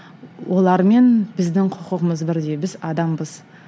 олармен біздің құқығымыз бірдей біз адамбыз